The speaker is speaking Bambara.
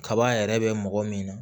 Kaba yɛrɛ bɛ mɔgɔ min na